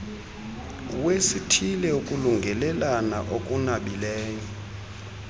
wesithile ukulungelelana okunabileyo